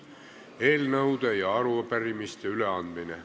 Eelnõude ja arupärimiste üleandmine.